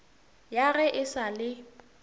ya ge e sa le